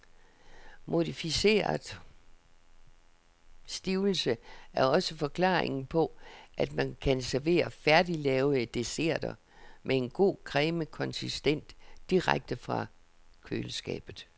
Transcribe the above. Modificeret stivelse er også forklaringen på, at man kan servere færdiglavede desserter, med en god cremet konsistens, direkte fra køleskabet.